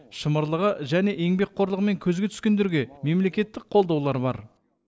шымырлығы және еңбекқорлығымен көзге түскендерге мемлекеттік қолдаулар бар